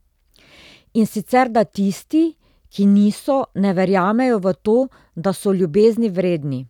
In sicer da tisti, ki niso, ne verjamejo v to, da so ljubezni vredni.